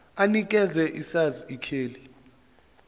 anikeze isars ikheli